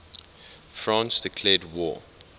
france declared war